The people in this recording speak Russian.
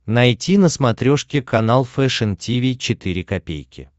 найти на смотрешке канал фэшн ти ви четыре ка